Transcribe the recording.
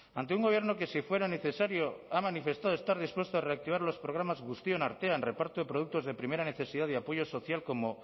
ante un gobierno que si fuera necesario ha manifestado estar dispuesto a reactivar los programas guztion artean reparto de productos de primera necesidad y apoyo social